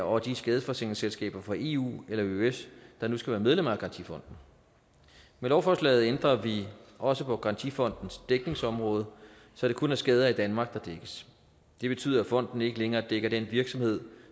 og af de skadesforsikringsselskaber fra eu eller eøs der nu skal være medlemmer af garantifonden med lovforslaget ændrer vi også på garantifondens dækningsområde så det kun er skader i danmark der dækkes det betyder at fonden ikke længere dækker den virksomhed